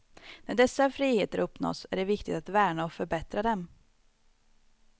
När dessa friheter uppnåtts är det viktigt att värna och förbättra dem.